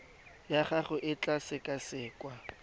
ya gago e tla sekasekwa